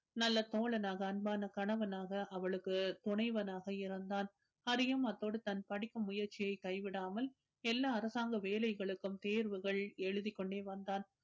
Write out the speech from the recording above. நல்ல தோழனாக அன்பான கணவனாக அவளுக்கு துணைவனாக இருந்தான் ஹரியும் அத்தோடு தான் படிக்கும் முயற்சியை கைவிடாமல் எல்லா அரசாங்க வேலைகளுக்கும் தேர்வுகள் எழுதிக்கொண்டே வந்தான்